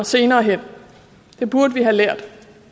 senere hen det burde vi have lært